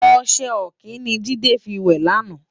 Oṣè òkin ni Jide fi wè làná